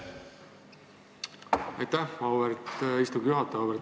Aitäh, auväärt istungi juhataja!